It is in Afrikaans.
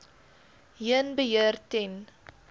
heen beheer ten